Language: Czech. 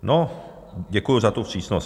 No, děkuju za tu vstřícnost.